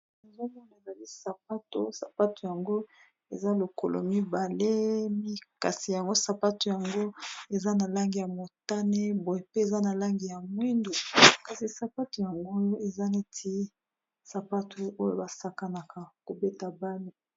Bozolakisa biso sapato mibale kasi sapato yango eza na langi ya motane bo pe eza na langi ya mwindu kasi sapato yango eza neti sapato oyo basakanaka kobeta ndembo